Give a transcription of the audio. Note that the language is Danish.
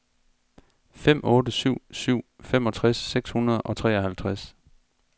fem otte syv syv femogtres seks hundrede og treoghalvtreds